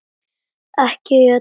Ekki allir í einni kássu!